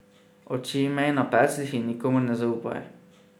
Oči imej na pecljih in nikomur ne zaupaj!